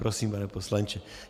Prosím, pane poslanče.